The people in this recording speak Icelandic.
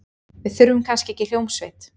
Við þurfum kannski ekki hljómsveit.